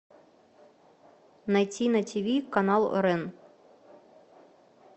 найти на тв канал рен